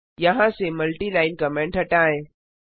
यहाँ से multi line comment हटाएं